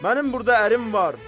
Mənim burda ərim var.